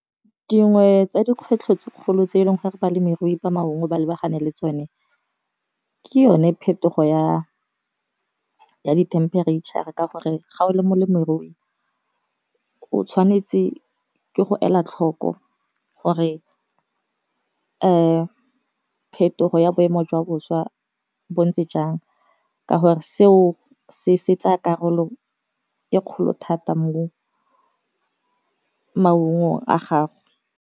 Dingwe tsa dikgwetlho tse kgolo tse e leng gore balemirui ba maungo ba lebagane le tsone ke yone phetogo ya di-temperature ka gore, ga o le molemirui o tshwanetse ke go ela tlhoko gore phetogo ya boemo jwa boswa bo ntse jang, ka gore seo se tsa karolo e kgolo thata mo maungo a gagwe.